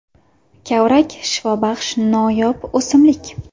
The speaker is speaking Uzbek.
Kavrak – shifobaxsh noyob o‘simlik.